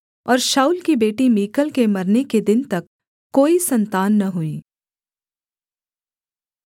और शाऊल की बेटी मीकल के मरने के दिन तक कोई सन्तान न हुई